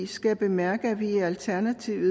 skal være altså